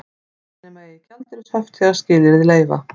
Afnema eigi gjaldeyrishöft þegar skilyrði leyfa